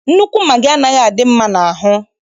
Nnukwu magị anaghị adị mma n'ahụ.